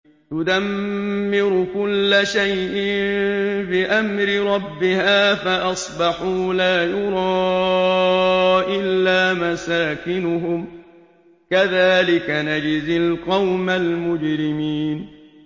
تُدَمِّرُ كُلَّ شَيْءٍ بِأَمْرِ رَبِّهَا فَأَصْبَحُوا لَا يُرَىٰ إِلَّا مَسَاكِنُهُمْ ۚ كَذَٰلِكَ نَجْزِي الْقَوْمَ الْمُجْرِمِينَ